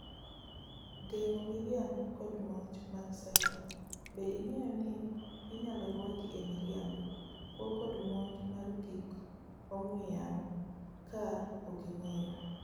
Geng'o miriambokod monj mag ciber; be ing'eyo ni inyalo ruaki e miriambo, kuo kod monj mar gik ong'ue yamo ka oking'eyo